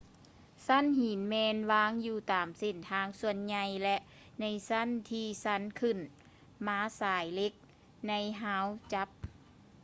ຊັ້ນຫີນແມ່ນວາງຢູ່ຕາມເສັ້ນທາງສ່ວນໃຫຍ່ ແລະ ໃນຊັ້ນທີຊັນຂຶ້ນມາສາຍເຫຼັກໃນຮາວຈັບ